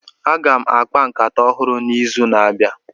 Aga m akpa nkata ọhụrụ n'izu na-abịa.